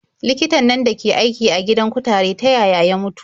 Likitan nan dake aiki a gidan kutare ta yaya ya mutu?